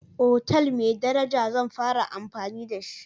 otal mai daraja zan fara amfani da shi.